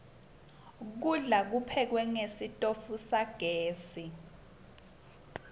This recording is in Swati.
kudla kuphekwe ngesitfu sagezi